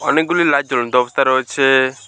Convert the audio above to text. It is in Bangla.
অনেকগুলি লাইট জ্বলন্ত অবস্থা রয়েছে।